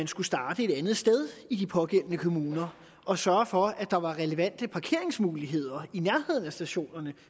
skulle starte et andet sted i de pågældende kommuner og sørge for at der var relevante parkeringsmuligheder i nærheden af stationerne